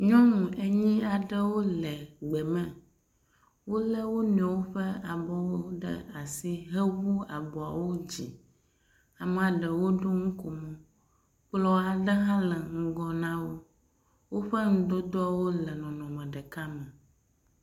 Nyɔnu enyi aɖewo le gbe me. wo le wo nɔewo ƒe abɔwo ɖe asi hewu abɔwo dzi. Ame ɖewo ɖo nukomo. Kplɔ aɖe hã le ŋgɔ na wo. Woƒe nudodowo hã le nɔnɔme ɖeka me.